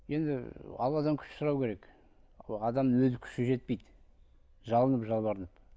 енді алладан күш сұрау керек адамның өзінің күші жетпейді жалынып жалбарынып